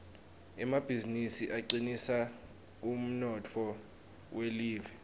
emabizinisi acinisa umnotfo welive